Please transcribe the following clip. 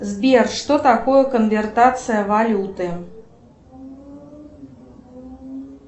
сбер что такое конвертация валюты